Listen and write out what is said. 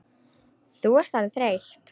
Þú ert orðin þreytt.